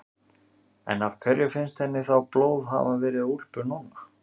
En af hverju finnst henni þá blóð hafa verið á úlpu Nonna?